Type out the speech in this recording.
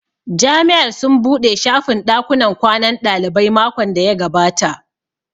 Jami'ar sun buɗe shafin ɗakunnan kwanan ɗalibai makon da ya gabata